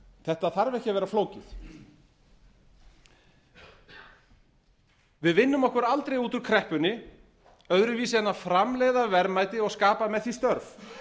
þetta þarf ekki að vera flókið við vinnum okkur aldrei út úr kreppunni öðruvísi en að framleiða verðmæti og skapa með því störf